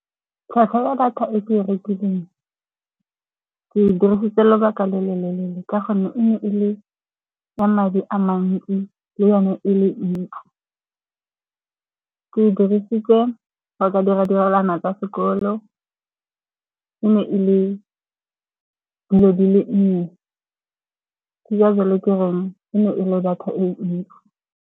Tlhwatlhwa ya data e ke rekileng ke e dirisitse lobaka le le leele ka gonne e ne e le ya madi a mantsi le yone e le ntsi. Ke dirisitse go ka dira ditirelwana tsa sekolo. E ne e le dilo di le nnye, ke ka jalo ke reng e le data e ntsi.